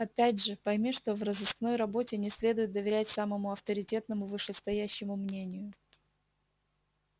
опять же пойми что в розыскной работе не следует доверять самому авторитетному вышестоящему мнению